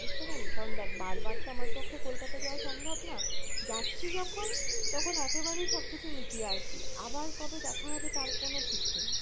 বুঝতে পারলি? কারন দেখ বার বার তো আমার পক্ষে কলকাতা যাওয়া সম্ভব না, যাচ্ছি যখন তখন একেবারেই সবকিছু মিটিয়ে আসি, আবার কবে দেখা হবে তার কোনো ঠিক নেই।